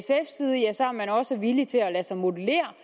man også villig til at lade sig modellere